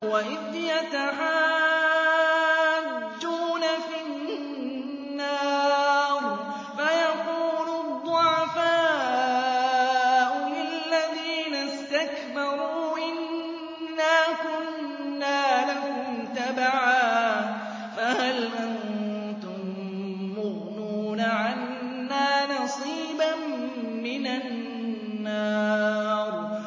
وَإِذْ يَتَحَاجُّونَ فِي النَّارِ فَيَقُولُ الضُّعَفَاءُ لِلَّذِينَ اسْتَكْبَرُوا إِنَّا كُنَّا لَكُمْ تَبَعًا فَهَلْ أَنتُم مُّغْنُونَ عَنَّا نَصِيبًا مِّنَ النَّارِ